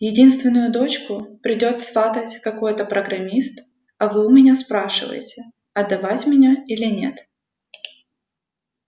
единственную дочку придёт сватать какой-то программист а вы у меня спрашиваете отдавать меня или нет